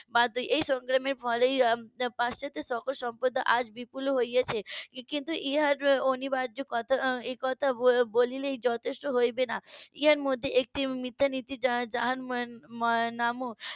বা এই সংগ্রাম এর ফলেই পাশ্চাত্য সভ্যতা আজ বিপুল হয়েছে কিন্তু এটার অনিবার্যকতা এ কথা বললেই যথেষ্ট হবে না এটার মধ্যে একটি . যার নামক